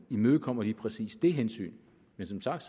imødekommer lige præcis det hensyn men som sagt